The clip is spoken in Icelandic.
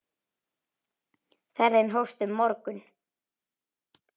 Ferðin hófst um morgun.